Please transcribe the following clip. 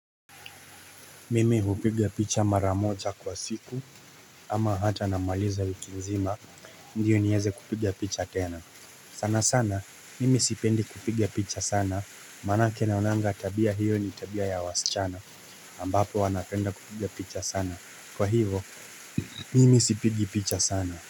Mimi hupiga picha mara moja kwa siku ama hata namaliza wiki nzima ndiyo nieze kupiga picha tena sana sana mimi sipendi kupiga picha sana maanake naonanga tabia hiyo ni tabia ya wasichana ambapo wanapenda kupiga picha sana kwa hivyo mimi sipigi picha sana.